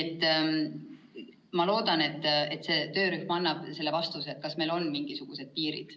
Ma loodan, et see töörühm annab vastuse, kas meil on mingisugused piirid.